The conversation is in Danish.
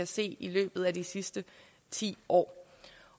se i løbet af de sidste ti år